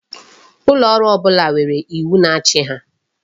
Ulooru ọbụla nwere iwu na-achị ha.